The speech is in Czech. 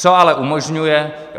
Co ale umožňuje.